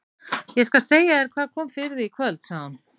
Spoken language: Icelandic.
Ég skal segja þér hvað kom fyrir þig í kvöld, sagði hún.